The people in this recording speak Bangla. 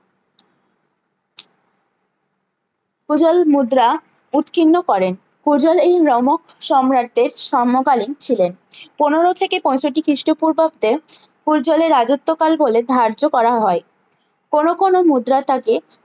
পূর্জল মুদ্রা উৎকীর্ণ করেন পূর্জলের এই রোমক সম্রাটদের সম্মকালীন ছিলেন পনেরো থেকে পঁয়ষট্টি খিষ্ট পূর্বাব্দে পূর্জলের রাজত্ব কাল বলে ধার্য করা হয় কোনো কোনো মুদ্রা তাকে